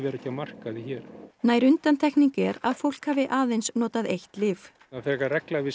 er ekkert á markaði hér nær undantekning er að fólk hafi aðeins notað eitt lyf það er frekar regla að við